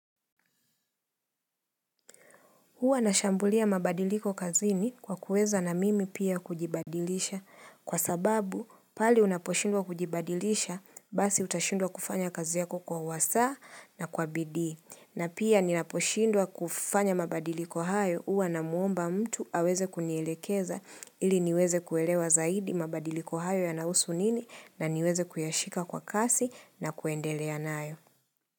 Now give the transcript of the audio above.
Huwa nashambulia mabadiliko kazini kwa kuweza na mimi pia kujibadilisha kwa sababu pali unaposhindwa kujibadilisha basi utashindwa kufanya kazi yako kwa wasa na kwa bidii. Na pia ninaposhindwa kufanya mabadiliko hayo uwa na muomba mtu aweze kunielekeza ili niweze kuelewa zaidi mabadiliko hayo yanahusu nini na niweze kuyashika kwa kasi na kuendelea nayo.